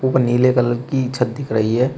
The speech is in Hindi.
व नीले कलर की छत दिख रही है।